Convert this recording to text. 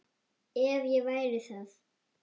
ef ég væri það?